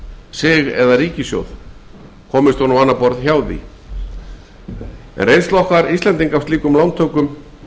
sig komist hún á annað borð hjá því reynsla okkar íslendinga af slíkum lántökum